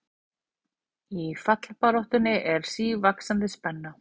Í fallbaráttunni er sívaxandi spenna